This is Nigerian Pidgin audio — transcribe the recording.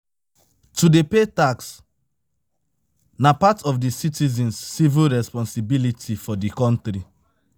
To dey pay tax na part of di citizens civic responsibility for di country